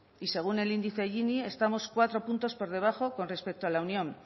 y según el índice gini estamos cuatro puntos por debajo con respecto a la unión